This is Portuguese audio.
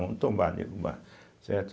Vamos tombar, derrubar, certo.